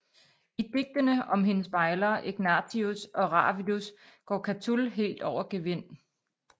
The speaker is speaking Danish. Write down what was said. I digtene om hendes bejlere Egnatius og Ravidus går Catul helt over gevind